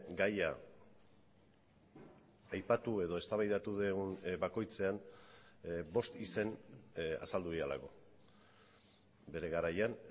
gaia aipatu edo eztabaidatu dugun bakoitzean bost izen azaldu direlako bere garaian